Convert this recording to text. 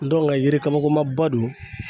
yiri kama ko ma ba don.